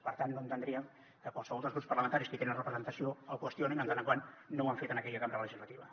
per tant no entendríem que qualsevol dels grups parlamentaris que hi tenen representació el qüestionin en tant que no ho han fet en aquella cambra legislativa